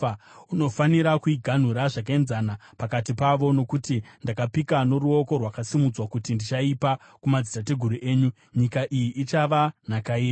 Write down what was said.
Unofanira kuiganhura zvakaenzana pakati pavo. Nokuti ndakapika noruoko rwakasimudzwa kuti ndichaipa kumadzitateguru enyu, nyika iyi ichava nhaka yenyu.